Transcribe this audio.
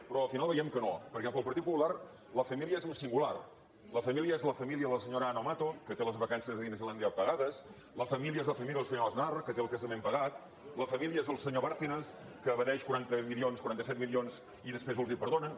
però al final veiem que no perquè per al partit popular la família és en singular la família és la família de la senyora ana mato que té les vacances a disneylàndia pagades la família és la família del senyor aznar que té el casament pagat la família és el senyor bárcenas que evadeix quaranta set milions i després els hi perdonen